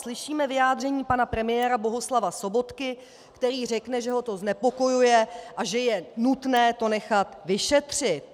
Slyšíme vyjádření pana premiéra Bohuslava Sobotky, který řekne, že ho to znepokojuje a že je nutné to nechat vyšetřit.